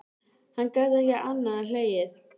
Hann gat ekki annað en hlegið.